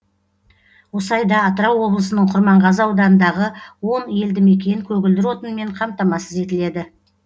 осы айда атырау облысының құрманғазы ауданындағы он елді мекен көгілдір отынмен қамтамасыз етіледі